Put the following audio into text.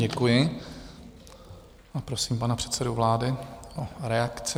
Děkuji a prosím pana předsedu vlády o reakci.